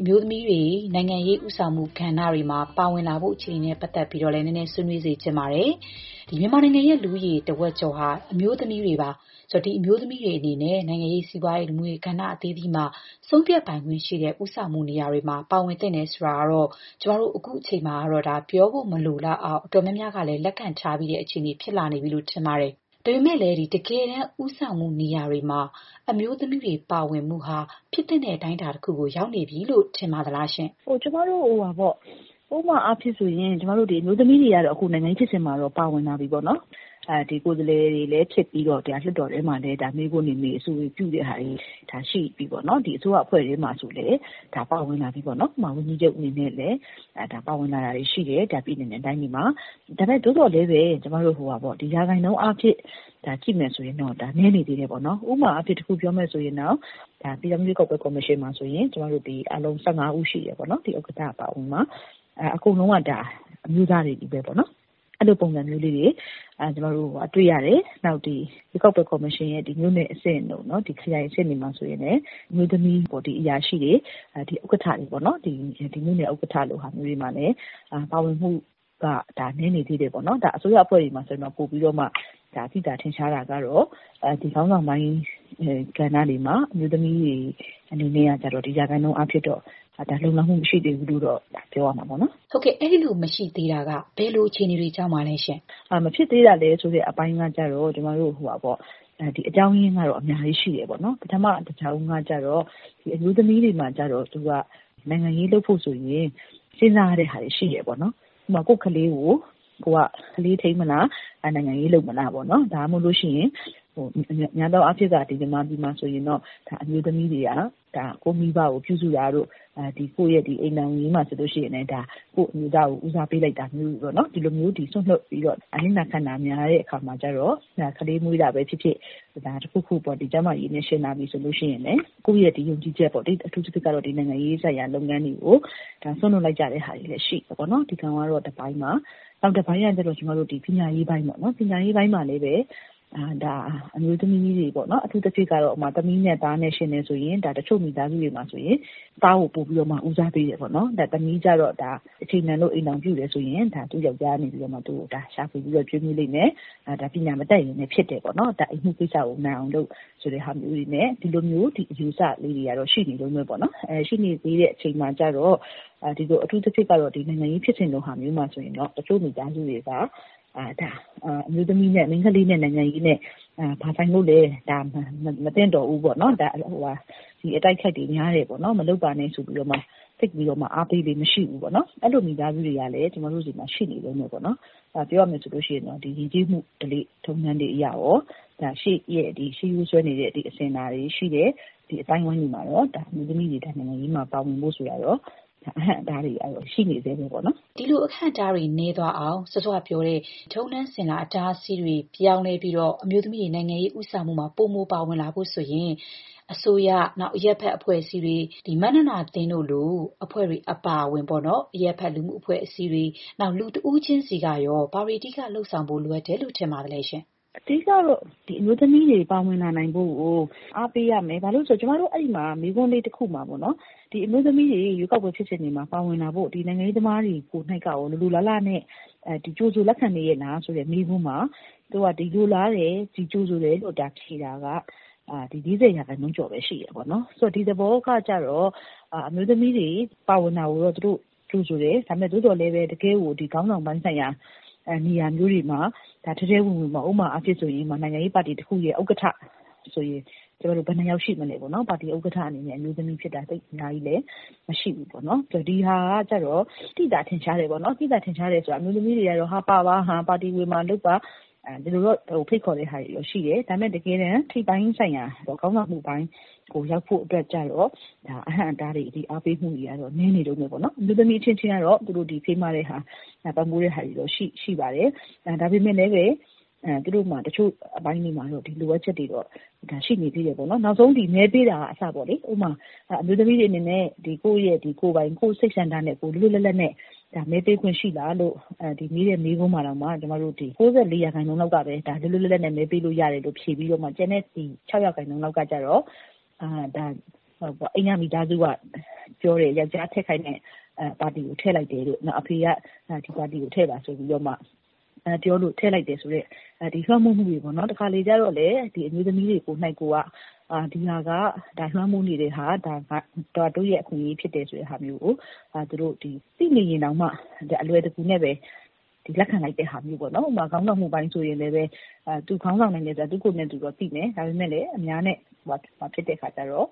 အမျိုးသမီးတွေ နိုင်ငံရေး ဦးဆောင်မှုကဏ္ဍတွေမှာ ပါဝင်လာဖို့ အခြေအနေနဲ့ပတ်သက်ပြီးတော့လည်း မေးချင်ပါတယ်။ မြန်မာနိုင်ငံရဲ့ လူဦးရေတဝက်ကျော်ဟာ အမျိုးသမီးတွေပါ။ ဆိုတော့ ဒီအမျိုးသမီးတွေအနေနဲ့ နိုင်ငံရေး၊ စီးပွားရေး လူမှုရေး ကဏ္ဍအသီးသီးမှာ ဆုံးဖြတ်ပိုင်ခွင့် ရှိတဲ့ဦးဆောင်မှု နေရာတွေမှာ ပါဝင်သင့်တယ်ဆိုတာကတော့ ကျမတို့အခုအချိန်မှာ ပြောဖို့မလိုတော့အောင် အတော်များများကလည်း လက်ခံတဲ့ အခြေအနေဖြစ်လာနေပြီလို့ ထင်ပါတယ်။ ဒါပေမဲ့ တကယ်တမ်း ဦးဆောင်မှုနေရာတွေမှာ အမျိုးသမီးတွေပါဝင်မှုဟာ ဖြစ်သင့်တဲ့ အတိုင်းအတာတခု အထိ ရောက်နေပြီလို့ ထင်ပါသလားရှင့်။ “ကျမတို့ ဥပမာအားဖြင့်ဆိုရင် အမျိုးသမီးတွေ ကတော့ နိုင်ငံရေးဖြစ်စဉ်တွေမှာ ပါဝင်လာပြီပေါ့နော်။ ကိုယ်စားလှယ်တွေလည်း ဖြစ်ပြီးတော့ လွှတ်တော်ထဲမှာလည်း မေးခွန်းတွေမေး၊ အဆိုတွေ ပြုတဲ့ဟာတွေ ရှိပြီပေါ့နော်။ အစိုးရ အဖွဲ့ထဲမှာ ဆိုရင်လည်း ဒါ ပါဝင်လာပြီပေါ့နော်။ ဝန်ကြီးချုပ် အနေနဲ့ ပါဝင်လာတာမျိုးတွေလည်း ရှိတယ်။ ပြည်နယ်နဲ့တိုင်းတွေမှာ။ ဒါပေမဲ့ သို့သော်လည်းပဲ ကျမတို့ ရာခိုင်နှုန်းအားဖြင့် ကြည့်မယ်ဆိုရင်တော့ နည်းနေသေးတာပေါ့နော်။ ဥပမာအားဖြင့် တခုပြောမယ်ဆိုရင် ပြည်ထောင်စု ရွေးကောက်ပွဲ ကော်မရှင်မှာဆိုရင် အားလုံး ၁၅ ဦးရှိတယ်။ ဥက္ကဋ္ဌ အပါအဝင် အကုန်လုံးက အမျိုးသားတွေချည်းပဲပေါ့နော်။ အဲ့ဒီလို ပုံစံမျိုးလေးတွေ ကျမတို့ တွေ့ရတယ်။ နောက်ပြီးတော့ ရွေးကောက်ပွဲကော်မရှင်ရဲ့ မြို့နယ်အဆင့်တို့ ခရိုင်အဆင့်တွေမှာ ဆိုလို့ရှိရင်လည်း ဒါက အမျိုးသမီး အရာရှိတွေ၊ ဥက္ကဋ္ဌတွေပေါ့နော်။ မြို့နယ် ဥက္ကဋ္ဌလို ဟာတွေမှာလည်း ပါဝင်မှုက နည်းနေသေးတယ်ပေါ့နော်။ အစိုးရအဖွဲ့တွေမှာဆိုရင်တော့ ပိုပြီးတော့မှ သိသာထင်ရှားတာကတော့ ခေါင်းဆောင်ပိုင်းကဏ္ဍတွေမှာ အမျိုးသမီးတွေ အနေနဲ့ကတော့ ရာခိုင်နှုန်းအားဖြင့်တော့ လုံလောက်မှု မရှိသေးဘူးလို့တော့ ပြောရမှာပေါ့နော်။” ဟုတ်ကဲ့။ အဲ့ဒီလိုမရှိသေးတာက ဘယ်လို အခြေအနေတွေကြောင့်ပါလဲရှင့်။ “မဖြစ်သေးတာဆိုတဲ့အပိုင်းက ကျတော့ အကြောင်းရင်းကတော့ အများကြီး ရှိတယ်ပေါ့နော်။ ပထမ တကြောင်းကကျတော့ အမျိုးသမီးတွေမှာ နိုင်ငံရေးလုပ်ဖို့ဆိုရင် စဉ်းစားရတဲ့ ဟာတွေရှိတယ်။ ဥပမာ ကိုယ့်ခလေးကို ခလေးထိန်းမလား။ နိုင်ငံရေးလုပ်မလားပေါ့။ ဒါမှမဟုတ်ရင်လည်း သူတို့မှာ များသောအားဖြင့်က မြန်မာပြည်မှာဆိုရင်တော့ အမျိုးသမီးတွေက ကိုယ့်မိဘကို ပြုစုတာတို့၊ ကိုယ့်ရဲ့ အိမ်ထောင်ရေးမှာ ဆိုရင်လည်း ကိုယ့်အမျိုးသားကို ဦးစားပေးလိုက်တာမျိုးတွေပေါ့နော်။ ဒီလိုမျိုး စွန့်လွှတ်ပြီးတော့ အနစ်နာခံတာများတဲ့ အခါမှာကျတော့၊ ကလေးမွေးတာပဲဖြစ်ဖြစ်။ တခုခုပေါ့။ ကျန်းမာရေးကိစ္စနဲ့ယှဉ်လာပြီဆိုရင်လည်း ကိုယ့်ရဲ့ယုံကြည်ချက်၊ အထူးသဖြင့်ကတော့ နိုင်ငံရေးဆိုင်ရာ လုပ်ငန်းတွေကို စွန့်လွှတ်လိုက်ကြတဲ့ ဟာတွေလည်း ရှိတယ်။ ဒါကတော့ တပိုင်းပါ။ နောက်တပိုင်းကတော့ ကျမတို့ ပညာရေးပိုင်းပေါ့။ ပညာရေးပိုင်းမှာလည်း အမျိုးသမီးတွေ။ အထူးသဖြင့် သမီးနဲ့သားနဲ့ ယှဉ်တယ်ဆိုရင် တချို့မိသားစုတွေမှာဆိုရင် သားကို ပိုပြီးတော့ ဦးစားပေးတယ်ပေါ့နော်။ သမီးကျတော့ အချိန်တန်လို့ အိမ်ထောင်ပြုတယ်ဆိုရင် သူ ယောက်ျားကနေ သူ့ကို ရှာဖွေ ကျွေးမွေးလိမ့်မယ်။ ပညာမတတ်ရင်လည်း ဖြစ်တယ်ပေါ့။ အိမ်မှုကိစ္စကိုပဲ နိုင်အောင်လုပ် ဆိုတာမျိုးတွေနဲ့ ဒီလိုမျိုး အယူအဆလေးတွေကတော့ ရှိနေတုန်းပဲပေါ့နော်။ ရှိနေသေးတဲ့ အချိန်မှာကျတော့ အထူးသဖြင့်ကတော့ နိုင်ငံရေးဖြစ်စဉ်လိုဟာမျိုးမှာဆိုရင် တချို့မိသားစုတွေက ဒါ မိန်းခလေးနဲ့ နိုင်ငံရေးနဲ့ ဘာဆိုင်လို့လဲ။ ဒါ မသင့်တော့ဘူးပေါ့။ အတိုက်အခိုက်တွေ များတယ်ပေါ့။ မလုပ်ပါနဲ့ ဆိုပြီး သိပ်ပြီးတော့ အားပေးလေ့ မရှိဘူးပေါ့နော်။ အဲ့လိုမိသားစုတွေကလည်း ကျမတို့ဆီမှာ ရှိနေတုန်းပဲပေါ့နော်။ ပြောရမယ်ဆိုရင်တော့ ယဉ်ကျေးမှု ဓလေ့ထုံးတမ်းတွေ အရရော၊ ရှေးရိုးစွဲနေတဲ့ အစဉ်အလာတွေ ရှိတယ်။ ဒီလို အသိုင်းအဝိုင်းတွေမှာတော့ အမျိုးသမီးတွေ နိုင်ငံရေးမှာ ပါဝင်ဖို့ ဆိုတာကတော့ အဟန့်အတားတွေ ကတော့ ရှိနေဆဲပေါ့နော်။” ဒီလို အဟန့်အတားတွေနည်းသွားအောင်၊ စောစောကပြောတဲ့ ထုံးတမ်းစဉ်လာ အတားအဆီးတွေ ပြောင်းလဲပြီး အမျိုးသမီးတွေ နိုင်ငံရေးဦးဆောင်မှုမှာ ပိုမိုပါဝင်လာဖို့ဆိုရင် အစိုးရ၊ မမြနန္ဒာသင်းတို့လို အဖွဲ့တွေ အပါအဝင် အရပ်ဘက် လူမှုအဖွဲ့အစည်းတွေ၊ နောက် လူတဦးချင်းစီကရော ဘာတွေ အဓိက လုပ်ဆောင်ဖို့ လိုအပ်နေတယ်လို့ ထင်ပါသလဲရှင့်။ “အဓိက ကတော့ အမျိုးသမီးတွေ ပါဝင်လာနိုင်ဖို့ကို အားပေးရမယ်။ ဘာဖြစ်လို့လဲ ဆိုတော့ ကျမတို့ စစ်တမ်းလုပ်တဲ့နေရာမှာ မေးခွန်းလေးတခုမှာပေါ့နော်။ အမျိုးသမီးတွေ ရွေးကောက်ပွဲ ဖြစ်စဉ်တွေမှာ ပါဝင်လာဖို့ နိုင်ငံရေးသမားတွေ ကိုယ်နှိက်ကရော လိုလိုလားလားနဲ့ ကြိုဆိုလက်ခံရဲ့လားဆိုတဲ့ မေးခွန်းမှာ - သူတို့က လိုလားတယ်။ ကြိုဆိုတယ်လို့ ဖြေတာက ၄၀ % ကျော်ပဲ ရှိတယ်ပေါ့နော်။ ဆိုတော့ ဒီသဘောက ကျတော့ အမျိုးသမီးတွေ ပါဝင်တာကိုတော့ သူတို့ကြိုဆိုတယ်။ သို့သော်လည်းပဲ တကယ့်ကို ခေါင်းဆောင်ပိုင်းဆိုင်ရာ နေရာမျိုးတွေမှာ ထဲထဲဝင်ဝင်ပေါ့။ ဥပမာအားဖြင့် ဆိုရင် နိုင်ငံရေးပါတီ တခုရဲ့ ဥက္ကဋ္ဌဆိုရင် ဘယ်နှစ်ယောက် ရှိမလဲပေါ့နော်။ ပါတီဥက္ကဋ္ဌအနေနဲ့ အမျိုးသမီးက သိပ်အများကြီးလည်း မရှိဘူးပေါ့နော်။ ဒီဟာက ကျတော့ သိသာ ထင်ရှား တယ်ပေါ့နော်။ သိသာထင်ရှားတယ်ဆိုတာ ကတော့ အမျိုးသမီးတွေကတော့ ပါပါ။ ပါတီဝင်ပါ လုပ်ပါ။ ဒီလိုတော့ ဖိတ်ခေါ်တာတွေ ရှိတယ်။ ဒါပေမဲ့ တကယ်တမ်း ထိပ်ပိုင်းဆိုင်ရာ ခေါင်းဆောင်မှုပိုင်းကို ရောက်ဖို့အတွက်ကျတော့ အဟန့်အတားတွေ အားပေးမှုတွေ ကတော့ နည်းနေတုန်းပဲပေါ့နော်။ အမျိုးသမီးအချင်းချင်း ကတော့ ဖေးမတာ ပံ့ပိုးတာတွေတော့ ရှိပါတယ်။ ဒါပေမဲ့လည်းပဲ သူတို့မှာ တချို့အပိုင်းလေးတွေမှာတော့ လိုအပ်ချက်တွေတော့ ရှိနေသေးတယ်ပေါ့နော်။ နောက်ဆုံး မဲပေးတာက အစပေါ့လေ။ ဥပမာ အမျိုးသမီးတွေ အနေနဲ့ ကိုယ့်ရဲ့ကိုယ်ပိုင် စိတ်ဆန္ဒနဲ့ လွတ်လွတ်လပ်လပ် မဲပေးခွင့်ရှိလား လို့ မေးတဲ့မေးခွန်းမှာတောင်မှ ၉ ၄ % လောက်ကပဲ ဒါ လွတ်လွတ်လပ်လပ်နဲ့ မဲပေးလို့ရတယ်လို့ ဖြေပြီးတော့ ကျန်တဲ့ ၆ % လောက်က ကျတော့ အိမ်က မိသားစုက ပြောတယ်။ ယောက်ျားထည့်ခိုင်းတဲ့ပါတီကို ထည့်လိုက်တယ်တို့။ အဖေက ဒီပါတီကို ထည့်ပါဆိုပြီးတော့မှပြောလို့ ထည့်လိုက်တယ်ဆိုတဲ့ လွှမ်းမိုးမှုတွေ ပေါ့နော်။ တခါတလေ ကျတော့လည်း အမျိုးသမီးတွေ ကိုယ်နှိက်ကိုယ်က ဒီဟာက လွှမ်းမိုးနေတဲ့ဟာ၊ ဒါ တို့ရဲ့အခွင့်အရေ ဖြစ်တယ် ဆိုတဲ့ဟာမျိုးကို သိနေရင်တောင်မှ အလွယ်တကူနဲ့ပဲ လက်ခံလိုက်တဲ့ဟာမျိုးပေါ့နော်။ နောက် ခေါင်းဆောင်မှုပိုင်းဆိုရင်လည်းပဲ သူ ခေါင်းဆောင်နိုင်တယ်ဆိုတာ သူ့ကိုယ်သူတော့ သိတယ်။ ဒါပေမဲ့လည်း အများနဲ့ ဖြစ်လာတဲ့အခါကျတော့